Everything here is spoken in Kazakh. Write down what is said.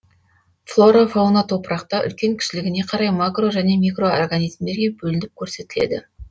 флора фауна топырақта үлкен кішілігіне қарай макро және микроорганизмдерге бөлініп көрсетіледі